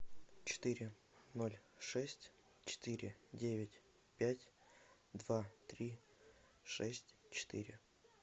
четыре ноль шесть четыре девять пять два три шесть четыре